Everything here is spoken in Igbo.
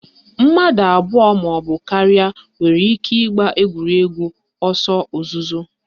Mmadụ abụọ maọbụ karịa nwere ike ịgba egwuregwu ọsọ ozuzo